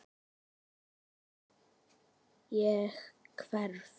Ég hverf.